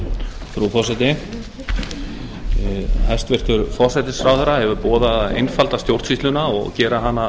frú forseti hæstvirtur forsætisráðherra hefur boðað að einfalda stjórnsýsluna og gera hana